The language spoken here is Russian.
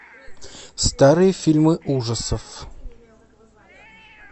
старые фильмы ужасов